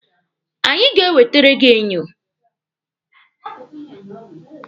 Anyị ga-ewetere gị enyo.